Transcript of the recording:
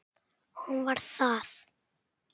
Hún: Var það?